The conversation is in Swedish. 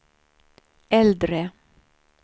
äldre